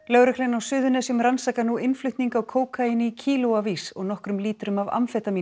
lögreglan á Suðurnesjum rannsakar nú innflutning á kókaíni í og nokkrum lítrum af